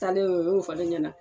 Talen o y'o fɔ ne ɲɛna